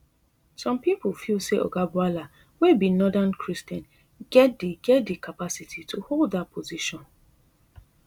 some pipo feel say oga bwala wey be northern christian get di get di capacity to hold dat position